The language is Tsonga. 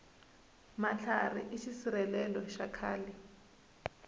matlhari i xisirhelelo xa khale